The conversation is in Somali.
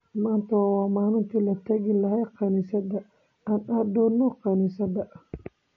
Maanta waa maalintii la tagi lahaa kaniisadda, aan aadno kaniisadda.